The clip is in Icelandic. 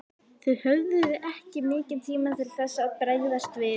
Þið höfðuð ekki mikinn tíma til þess að bregðast við?